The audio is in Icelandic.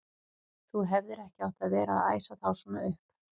Þú hefðir ekki átt að vera að æsa þá svona upp!